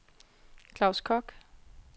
Claus Kock